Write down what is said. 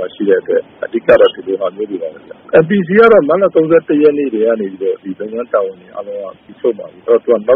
ှာ ရှိတဲ့အတွက် အဓိကက ဒီလို ဟာမျိုးတွေပါပဲ။ MPC ကတော့ မတ်လ ၃၁ရက်နေ့ကတည်းက လုပ်ငန်းတာဝန်တွေ အားလုံးက ပြီးဆုံးပါပြီ။ အဲဒီတော့ နေ